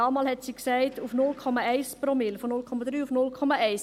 Damals sagte sie: auf 0,1 Promille, von 0,3 auf 0,1 Promille.